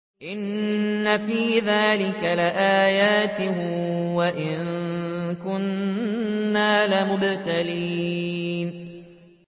إِنَّ فِي ذَٰلِكَ لَآيَاتٍ وَإِن كُنَّا لَمُبْتَلِينَ